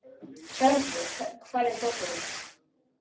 Hjálmfríður, hvar er dótið mitt?